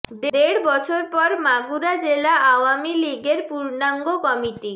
দেড় বছর পর মাগুরা জেলা আওয়ামী লীগের পুর্ণাঙ্গ কমিটি